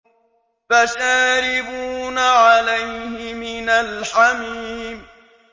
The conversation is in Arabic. فَشَارِبُونَ عَلَيْهِ مِنَ الْحَمِيمِ